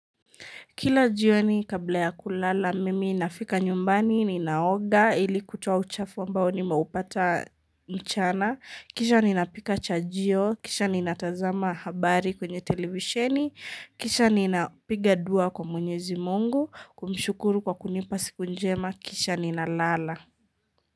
Kila jioni kabla ya kulala, mimi nafika nyumbani, ninaoga, ili kutoa uchafo ambao nimeupata mchana, kisha ninapika chajio, kisha ninatazama habari kwenye televisheni, kisha ninapiga dua kwa mwenyezi mungu, kumshukuru kwa kunipa siku njema, kisha ninalala.